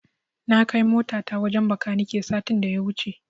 Na kai motata wajen Bakanike satin da ya wuce.